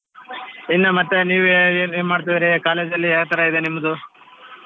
ಇನ್ನ ಮತ್ತೆ ನೀವೇ ಏನ್ ಏನ್ ಮಾಡ್ತಿದೀರಿ college ಅಲ್ಲಿ ಯಾವ ತರಾ ಇದೆ ನಿಮ್ದು?